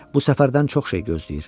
Bu səfərdən çox şey gözləyir.